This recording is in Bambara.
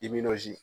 I nizi